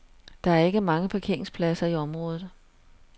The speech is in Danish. Der er ikke mange parkeringspladser i området.